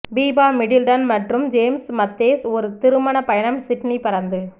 Biba Middleton மற்றும் James Matthews ஒரு திருமண பயணம் சிட்னி பறந்து